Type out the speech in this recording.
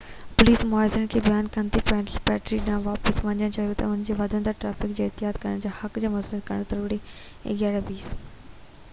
11:20 تي پوليس مظاهرين کي بيان ڪندي پيدل پٽڙي ڏانهن واپس وڃڻ لاءِ چيو ته انهن کي وڌندڙ ٽرئفڪ کي احتجاج ڪرڻ جي حق سان متوازن ڪرڻ ضرورت آهي